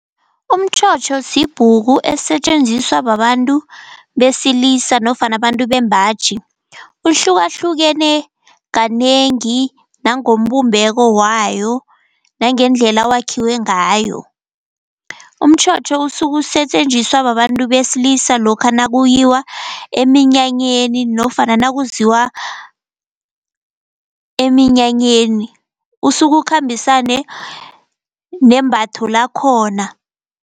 Umtjhotjho sibhuku esisetjenziswa babantu besilisa nofana abantu bembaji. Uhlukahlukene kanengi nangombumbeko wayo nangendlela wakhiwe ngayo. Umtjhotjho usukusetjenziswa babantu beselisa lokha nakuyiwa eminyanyeni nofana nakuziwa eminyanyeni. Usukukhambisane nembatho lakhona.